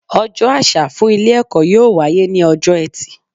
Ojó àsà fún Ilé èkó yóò wáyé ní ojó etì